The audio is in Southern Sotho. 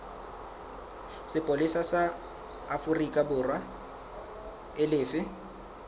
sepolesa sa aforikaborwa e lefe